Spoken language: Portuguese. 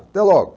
Até logo.